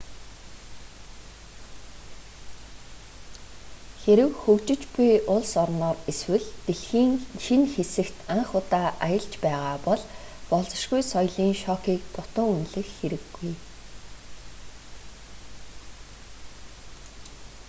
хэрэв хөгжиж буй улс орноор эсвэл дэлхийн шинэ хэсэгт анх удаа аялж байгаа бол болзошгүй соёлын шокыг дутуу үнэлэх хэрэггүй